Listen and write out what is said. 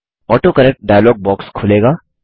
autocorrect dialogue box खुलेगा